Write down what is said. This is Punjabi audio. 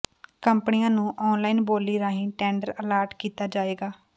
ਕੰਪਨੀਆਂ ਨੂੰ ਆਨਲਾਈਨ ਬੋਲੀ ਰਾਹੀਂ ਟੈਂਡਰ ਅਲਾਟ ਕੀਤਾ ਜਾਏਗਾ